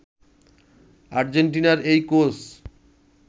আর্জেন্টিনার এই কোচ